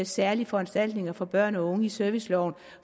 særlige foranstaltninger for børn og unge i serviceloven